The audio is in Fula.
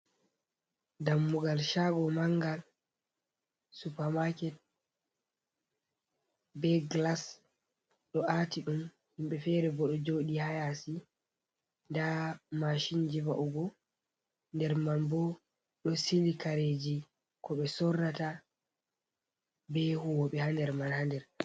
Dammugal shaago manga, supa maket. Be glas ɗo ati ɗum, himɓe fere bo ɗo jooɗi haa yasi. Nda mashinji va'ugo. Nder man bo ɗo sili kareji ko ɓe sorrata, be huwoɓe ha nder man ha nder.